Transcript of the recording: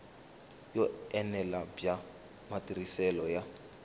yo enela bya matirhiselo ya